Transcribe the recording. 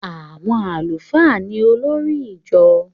Àwọn àlùfáà ni olórí ijọ